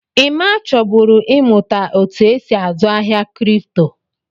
Emma chọburu ị mụta otú e si azụ ahịa kripto.